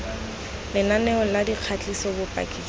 lenaneo la dikgatiso bopaki jwa